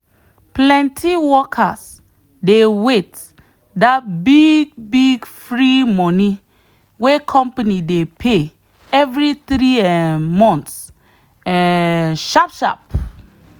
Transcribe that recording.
plenty workers dey wait that big big free money wey company dey pay every three um months um sharp sharp.